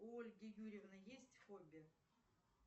у ольги юрьевны есть хобби